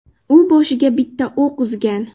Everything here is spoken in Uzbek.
U boshiga bitta o‘q uzgan.